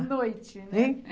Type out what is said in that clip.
noite, né?